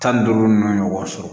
Tan ni duuru nunnu ɲɔgɔn sɔrɔ